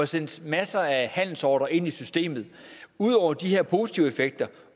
sendes masser af handelsordrer ind i systemet ud over de her positive effekter